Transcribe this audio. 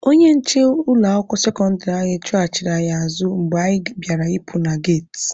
Onye nche ụlọ akwụkwọ sekọndịrị anyị chụghachiri anyị azụ mgbe anyị bịara ịpụ na geti.